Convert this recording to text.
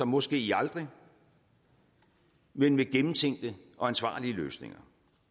måske aldrig men med gennemtænkte og ansvarlige løsninger